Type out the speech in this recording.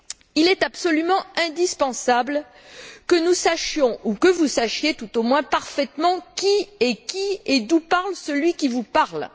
Il est absolument indispensable que nous sachions, ou que vous sachiez tout au moins, parfaitement, qui est qui et d'où parle celui qui vous parle.